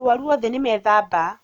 Arwaru othe nĩmethamba